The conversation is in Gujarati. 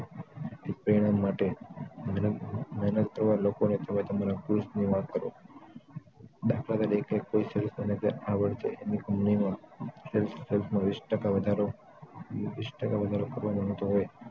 તે પ્રેરક માટે અવાર નવાર લોકોને તમારા stock ની વાત કરો દા. ત. sales manager આ વર્ષે એની કંપનીમાં sales stock માં વીશ ટકા વધારો કરવા માંગતા હોય